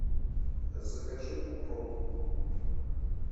закажи укроп